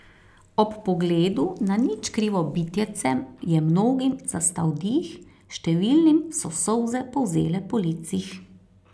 Ob pogledu na nič krivo bitjece je mnogim zastal dih, številnim so solze polzele po licih.